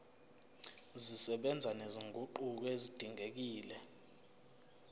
zisebenza nezinguquko ezidingekile